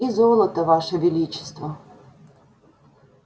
и золото ваше величество